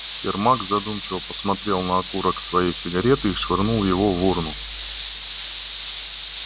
сермак задумчиво посмотрел на окурок своей сигары и швырнул его в урну